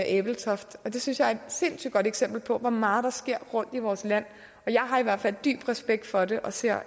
ebeltoft det synes jeg er et sindssygt godt eksempel på hvor meget der sker rundt i vores land jeg har i hvert fald dyb respekt for det og ser